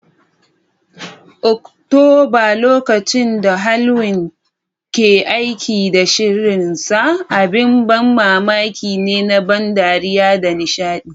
Oktoba, lokacin da Halloween ke aiki da sihirinsa, abin ban mamaki ne na ban dariya da nishaɗi.